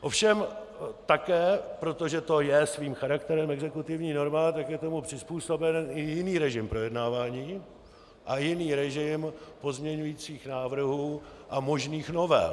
Ovšem také, protože to je svým charakterem exekutivní norma, tak je tomu přizpůsoben i jiný režim projednávání a jiný režim pozměňovacích návrhů a možných novel.